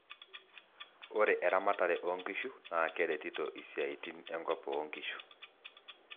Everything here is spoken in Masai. ore eramatare oo nkishu naa keretito isiaitin e nkop oo nkishu.